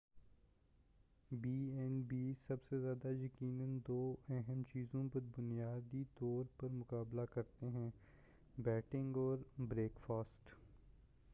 be and Bs سب سے زیادہ یقیناً دو اہم چیزوں پر بنیادی طور پر مُقابلہ کرتے ہیں بیڈنگ اور بریک فاسٹ